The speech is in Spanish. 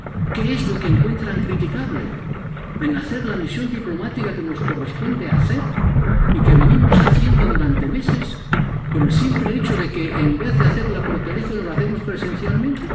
¿Qué es lo que encuentran criticable en hacer la misión diplomática que nos corresponde hacer y que venimos haciendo durante meses por el simple hecho de que, en vez de hacerla por teléfono, la hacemos presencialmente?